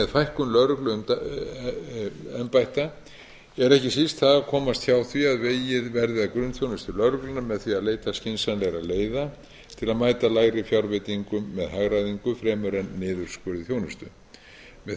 fækkun lögregluembætta er ekki síst það að komast hjá því að vegið verði að grunnþjónustu lögreglunnar með því að leita skynsamlegra leiða til að mæta lægri fjárveitingum með hagræðingu fremur en niðurskurði þjónustu með